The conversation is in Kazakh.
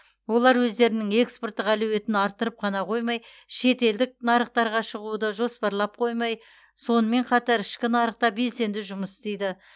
олар өздерінің экспорттық әлеуетін арттырып қана қоймай шетелдік нарықтарға шығуды жоспарлап қоймай сонымен қатар ішкі нарықта белсенді жұмыс істейді